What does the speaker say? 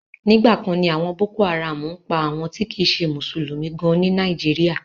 Nígbà kan ni àwọn boko haram ń pa àwọn ti kìí ṣe mùsùlùmí gan ní Nàìjíríà.